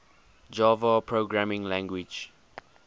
java programming language